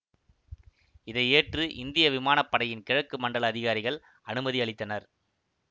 இதை ஏற்று இந்திய விமான படையின் கிழக்கு மண்டல அதிகாரிகள் அனுமதி அளித்தனர்